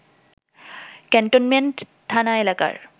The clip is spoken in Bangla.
ক্যান্টনমেন্ট থানা এলাকার